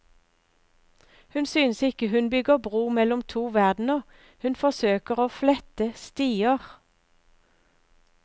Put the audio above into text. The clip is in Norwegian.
Hun synes ikke hun bygger bro mellom to verdener, hun forsøker å flette stier.